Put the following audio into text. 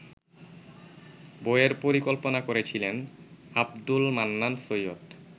বইয়ের পরিকল্পনা করেছিলেন আবদুলমান্নান সৈয়দ